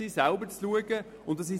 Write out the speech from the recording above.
Sie wollen selbstständig sein.